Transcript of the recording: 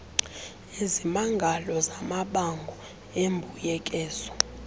izimangalo zamabango embuyekezo